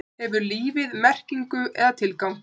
Hefur lífið merkingu eða tilgang?